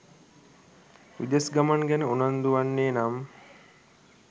විදෙස් ගමන් ගැන උනන්දුවන්නේ නම්